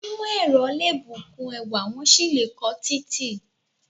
Onímò ẹ̀rọ le bukun ẹwà, wọ́n sì le ko títì